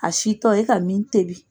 A sitɔ e ka min tebi